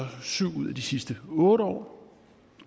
syv ud af de sidste otte år